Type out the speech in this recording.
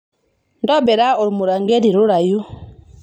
tobira ormuranketi rurayu